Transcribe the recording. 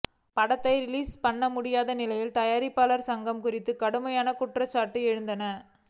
படத்தை ரிலீஸ் பண்ணமுடியாத நிலையில் தயாரிப்பாளர் சங்கம் குறித்து கடுமையான குற்றச்சாட்டுகள் எழுந்தன